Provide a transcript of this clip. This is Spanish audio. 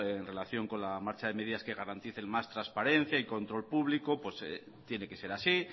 en relación con la marcha de medidas que garantice más transparencia y control público tiene que ser así